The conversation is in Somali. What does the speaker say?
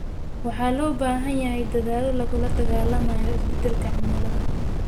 Waxaa loo baahan yahay dadaallo lagula dagaallamayo isbeddelka cimilada.